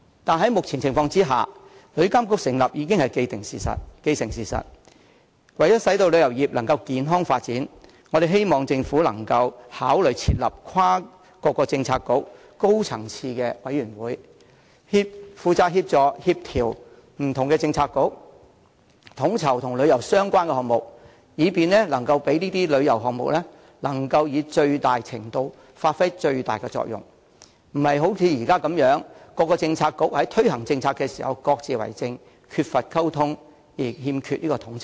可是，在目前情況下，旅遊監管局的成立已是既成事實，為使旅遊業可以健康發展，我們希望政府考慮設立跨政策局的高層次委員會，負責協助、協調不同政策局，統籌與旅遊相關的項目，以便這些旅遊項目能以最大程度發揮最大作用，而非像現時般，各政策局在推行政策時各自為政，缺乏溝通而欠缺統籌。